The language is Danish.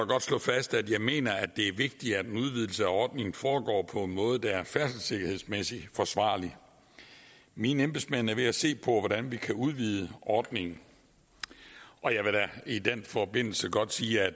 godt slå fast at jeg mener at det er vigtigt at en udvidelse af ordningen foregår på en måde der er færdselssikkerhedsmæssigt forsvarlig mine embedsmænd er ved at se på hvordan vi kan udvide ordningen og jeg vil da i den forbindelse godt sige at